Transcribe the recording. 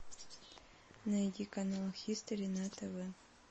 найди канал хистори на тв